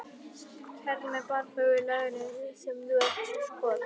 Kærðu mig bara fyrir löggunni sem þú ert svo skot